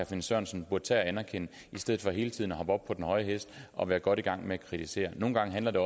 finn sørensen burde anerkende i stedet for hele tiden at hoppe op på den høje hest og være godt i gang med at kritisere nogle gange handler det